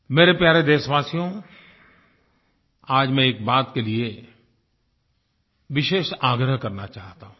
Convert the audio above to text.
मेरे प्यारे देशवासियो आज मैं एक बात के लिए विशेष आग्रह करना चाहता हूँ